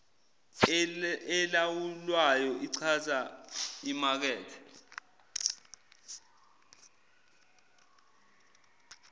elawulwayo ichaza imakethe